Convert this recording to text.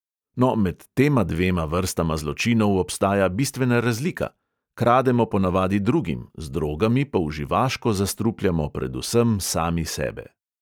No, med tema dvema vrstama zločinov obstaja bistvena razlika: krademo ponavadi drugim, z drogami pa uživaško zastrupljamo predvsem sami sebe.